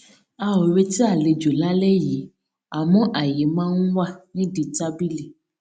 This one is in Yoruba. a ò retí àlejò lálẹ yìí àmọ àyè máa ń wà nídìí tábìlì